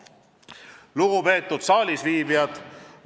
Lugupeetud saalisviibijad!